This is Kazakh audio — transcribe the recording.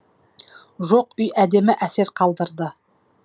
жоқ үй әдемі әсер қалдырды